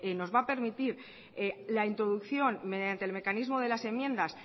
nos va a permitir la introducción mediante el mecanismo de las enmiendas